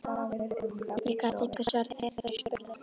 Ég gat engu svarað þegar þær spurðu.